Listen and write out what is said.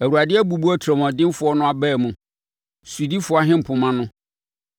Awurade abubu otirimuɔdenfoɔ no abaa mu, sodifoɔ ahempoma no,